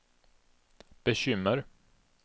bekymmer